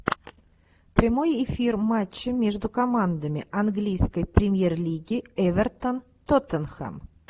прямой эфир матча между командами английской премьер лиги эвертон тоттенхэм